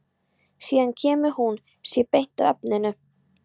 Síðan kemur hún sér beint að efninu.